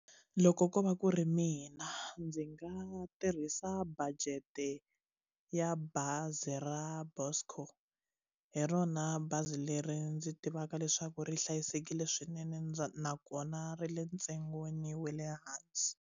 Loko ko va ku ri mina ndzi nga tirhisa budget ya bazi ra Buscor hi rona bazi leri ndzi tivaka leswaku ri hlayisekile swinene ndza nakona ri le ntsengweni wa le hansi.